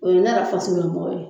O ye ne yɛrɛ faso lamɔgɔw ye.